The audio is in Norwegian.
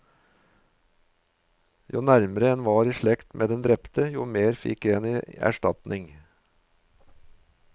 Jo nærmere en var i slekt med den drepte, jo mer fikk en i erstatning.